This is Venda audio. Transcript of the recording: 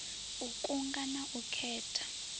u kunga na u khetha